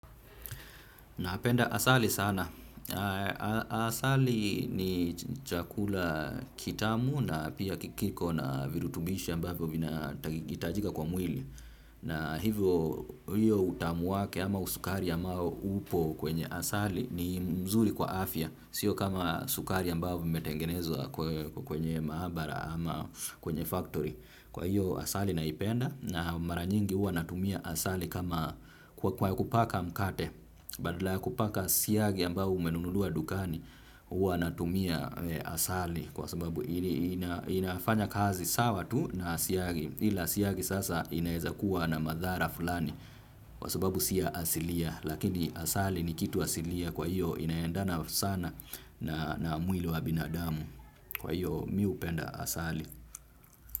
Napenda asali sana. Asali ni chakula kitamu na pia kiko na virutubishi ambavyo vinaitajika kwa mwili. Na hivyo utamu wake ama usukari ama upo kwenye asali ni mzuri kwa afya. Sio kama sukari ambavyo imetengenezwa kwenye maabara ama kwenye factory. Kwa hiyo asali naipenda na maranyingi huwa natumia asali kama kwa kupaka mkate badala ya kupaka siyagi ambahu umenunulua dukani huwa natumia asali kwa sababu inafanya kazi sawa tu na siyagi ila siyagi sasa inaeza kuwa na madhara fulani kwa sababu siya asilia lakini asali ni kitu asilia kwa hiyo inaendana sana na mwili wa binadamu kwa hiyo miupenda asali.